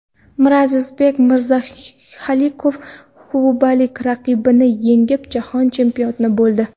Mirazizbek Mirzahalilov kubalik raqibini yengib, Jahon chempioni bo‘ldi.